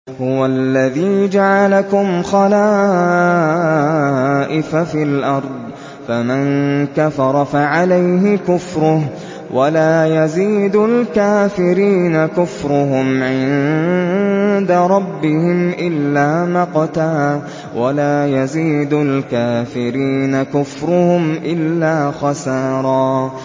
هُوَ الَّذِي جَعَلَكُمْ خَلَائِفَ فِي الْأَرْضِ ۚ فَمَن كَفَرَ فَعَلَيْهِ كُفْرُهُ ۖ وَلَا يَزِيدُ الْكَافِرِينَ كُفْرُهُمْ عِندَ رَبِّهِمْ إِلَّا مَقْتًا ۖ وَلَا يَزِيدُ الْكَافِرِينَ كُفْرُهُمْ إِلَّا خَسَارًا